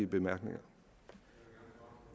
bemærkninger